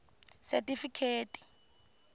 setifikheti